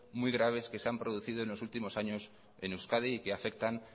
muy graves que se han producido en los últimos años en euskadi y que afectan